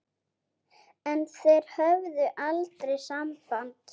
En þeir höfðu aldrei samband